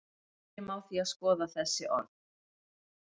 byrjum á því að skoða þessi orð